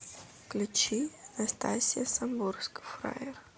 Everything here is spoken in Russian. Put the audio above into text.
включи настасья самбурская фраер